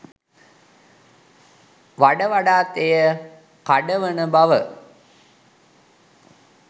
වඩ වඩාත් එය කඩවන බව